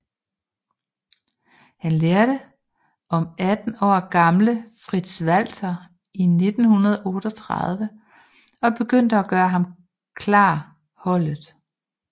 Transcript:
Han lærte om 18 år gamle Fritz Walter i 1938 og begyndte at gøre ham klar holdet